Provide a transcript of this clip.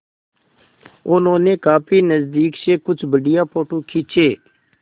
उन्होंने काफी नज़दीक से कुछ बढ़िया फ़ोटो खींचे